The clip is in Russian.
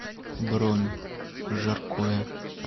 бронь жаркое